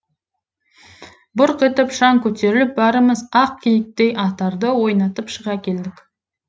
бұрқ етіп шаң көтеріліп бәріміз ақ киіктей атарды ойнатып шыға келдік